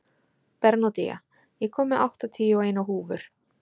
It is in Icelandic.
Bernódía, ég kom með áttatíu og eina húfur!